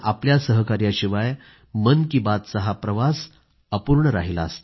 आपल्या सहकार्याशिवाय मन की बात चहा प्रवास अपूर्ण राहिला असता